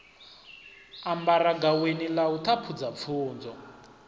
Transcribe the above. ambara gaweni ḽa u ṱhaphudzapfunzo